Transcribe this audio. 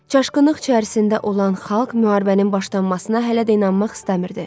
Çaşqınlıq içərisində olan xalq müharibənin başlanmasına hələ də inanmaq istəmirdi.